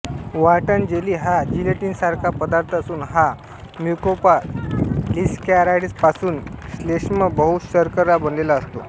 Wharton jelly हा जिलेटिनासारखा पदार्थ असून हा म्युकोपॉलीसॅकॅराइडापासून श्लेष्मबहुशर्करा बनलेला असतो